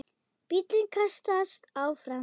Bíllinn kastast áfram.